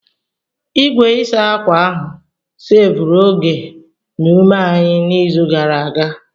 Igwe ịsa ákwà ahụ seevuru oge na ume anyị n'izu gara aga.